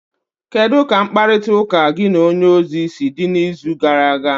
kedu ka mkparịtaụka gị na onye ozi si dị n'izu gara aga?